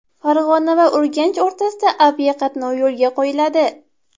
Farg‘ona va Urganch o‘rtasida aviaqatnov yo‘lga qo‘yiladi.